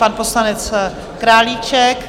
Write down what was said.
Pan poslanec Králíček?